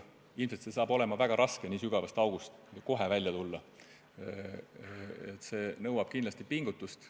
Ilmselt saab olema väga raske nii sügavast august kohe välja tulla, see nõuab kindlasti pingutust.